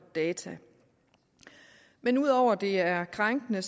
data men ud over at det er krænkende